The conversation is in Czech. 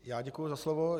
Já děkuji za slovo.